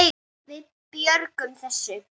Við megum muna betri tíma.